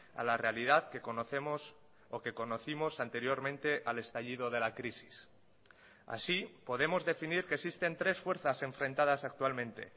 a la realidad que conocemos o que conocimos anteriormente al estallido de la crisis así podemos definir que existen tres fuerzas enfrentadas actualmente